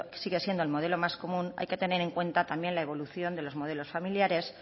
sigue siendo el modelo más común hay que tener en cuenta también la evolución de los modelos familiares